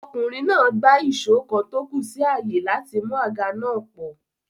Ọkùnrin náà gbá èsó kan tó kù sí àyè láti mú àga náà pọ̀